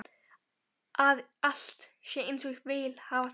Að allt sé einsog ég vil hafa það.